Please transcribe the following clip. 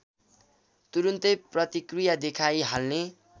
तुरुन्तै प्रतिक्रिया देखाइहाल्ने